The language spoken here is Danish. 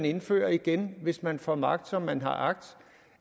indføre igen hvis man får magt som man har agt